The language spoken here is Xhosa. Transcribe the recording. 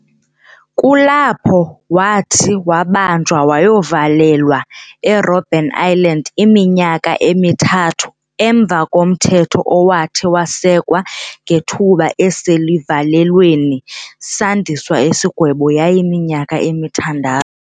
Kulapho wathi wabanjwa wayovalelwa eRobben Island iminyaka emithathu emva komthetho owathi wasekwa ngethuba eselivalelweni sandiswa isigwebo yayiminyaka emithandathu.